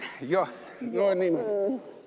Jah, no niimoodi.